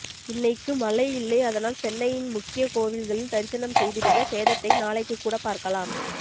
இன்னைக்கு மலை இல்லை அதனால் சென்னையின் முக்கிய கோவில்களில் தரிசனம் செய்துடுங்க சேதத்தை நாளைக்கு கூட பார்க்கலாம்